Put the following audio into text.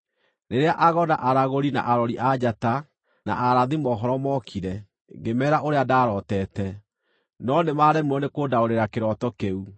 Rĩrĩa ago, na aragũri, na arori a njata na arathi mohoro mookire, ngĩmeera ũrĩa ndarooteete, no nĩmaremirwo nĩ kũndaũrĩra kĩroto kĩu.